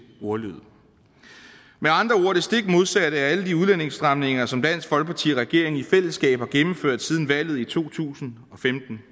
ordlyd med andre ord det stik modsatte af alle de udlændingestramninger som dansk folkeparti og regeringen i fællesskab har gennemført siden valget i to tusind og femten